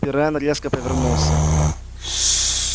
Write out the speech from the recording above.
пиренн резко повернулся